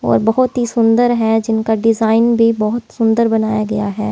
और बहुत ही सुंदर है जिनका डिजाइन भी बहुत सुंदर बनाया गया है।